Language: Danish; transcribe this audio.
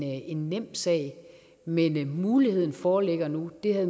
en nem sag men muligheden foreligger nu det